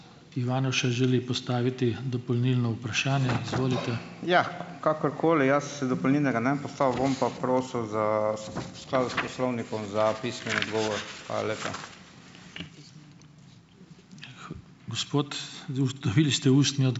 Ja. Kakorkoli, jaz si dopolnilnega ne bom postavil, bom pa prosil za, v skladu s Poslovnikom, za pismen odgovor. Hvala lepa.